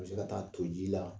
A bɛ se ka taa to ji la